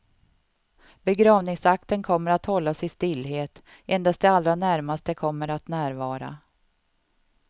Begravningsakten kommer att hållas i stillhet, endast de allra närmaste kommer att närvara.